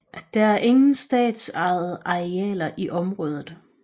Der er ingen statsejede arealer i området